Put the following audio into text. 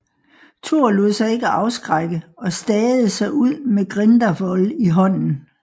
Thor lod sig ikke afskrække og stagede sig ud med Gridarvol i hånden